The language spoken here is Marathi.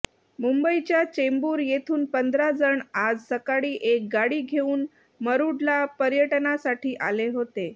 मुंबईच्या चेंबूर येथून पंधरा जण आज सकाळी एक गाडी घेऊन मुरूडला पयर्टनासाठी आले होते